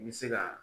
I bɛ se ka